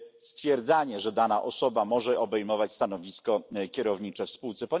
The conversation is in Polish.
stwierdzania, że dana osoba może objąć stanowisko kierownicze w spółce.